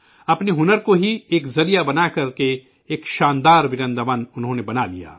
اپنے فن کو ہی ذریعہ بنا کر انہوں نے ایک حیرت انگیز ورنداون بنالیا